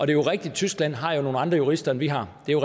jo rigtigt at tyskland har nogle andre jurister end vi har det er